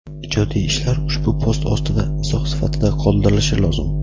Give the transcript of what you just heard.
Ijodiy ishlar ushbu post ostida izoh sifatida qoldirilishi lozim;.